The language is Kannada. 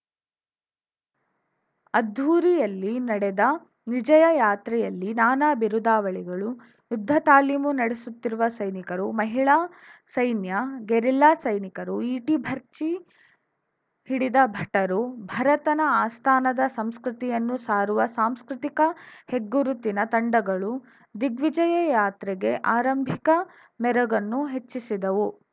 ಅದ್ಧೂರಿಯಲ್ಲಿ ನಡೆದ ದಿಗ್ವಿಜಯ ಯಾತ್ರೆಯಲ್ಲಿ ನಾನಾ ಬಿರುದಾವಳಿಗಳು ಯುದ್ಧ ತಾಲೀಮು ನಡೆಸುತ್ತಿರುವ ಸೈನಿಕರು ಮಹಿಳಾ ಸೈನ್ಯ ಗೆರಿಲ್ಲಾ ಸೈನಿಕರು ಈಟಿ ಭರ್ಚಿ ಹಿಡಿದ ಭಟರು ಭರತನ ಆಸ್ಥಾನದ ಸಂಸ್ಕೃತಿಯನ್ನು ಸಾರುವ ಸಾಂಸ್ಕೃತಿಕ ಹೆಗ್ಗುರುತಿನ ತಂಡಗಳು ದಿಗ್ವಿಜಯ ಯಾತ್ರೆಗೆ ಆರಂಭಿಕ ಮೆರುಗನ್ನು ಹೆಚ್ಚಿಸಿದವು